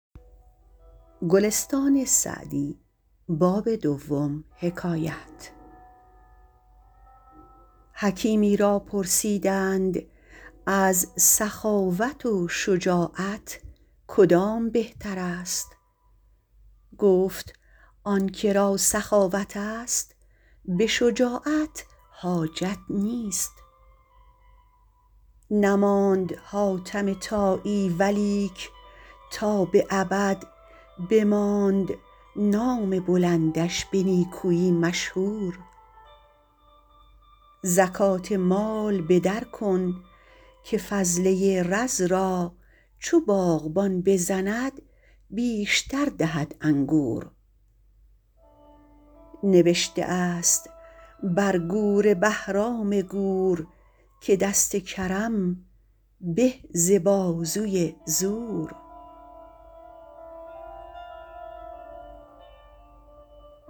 حکیمی را پرسیدند از سخاوت و شجاعت کدام بهتر است گفت آن که را سخاوت است به شجاعت حاجت نیست نماند حاتم طایی ولیک تا به ابد بماند نام بلندش به نیکویی مشهور زکات مال به در کن که فضله رز را چو باغبان بزند بیشتر دهد انگور نبشته است بر گور بهرام گور که دست کرم به ز بازوی زور